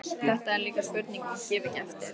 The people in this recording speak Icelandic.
Þetta er líka spurning um að gefa ekki eftir.